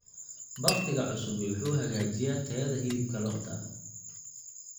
Bakhtiga cusubi wuxuu hagaajiyaa tayada hilibka lo'da.